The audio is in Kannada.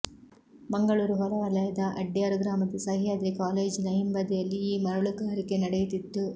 ಮಂಗಳೂರು ಹೊರವಲಯದ ಅಡ್ಯಾರು ಗ್ರಾಮದ ಸಹ್ಯಾದ್ರಿ ಕಾಲೇಜ್ ನ ಹಿಂಬದಿಯಲ್ಲಿ ಈ ಮರುಳುಗಾರಿಕೆ ನಡೆಯುತ್ತಿತ್ತು